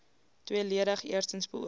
tweeledig eerstens beoog